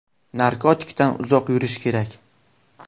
Narkotikdan uzoq yurish kerak.